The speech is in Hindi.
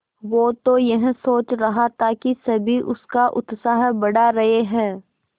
वो तो यह सोच रहा था कि सभी उसका उत्साह बढ़ा रहे हैं